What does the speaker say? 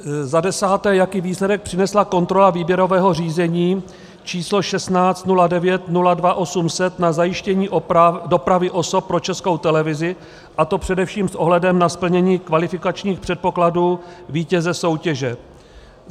Za desáté: Jaký výsledek přinesla kontrola výběrového řízení číslo 160902800 na zajištění dopravy osob pro Českou televizi, a to především s ohledem na splnění kvalifikačních předpokladů vítěze soutěže?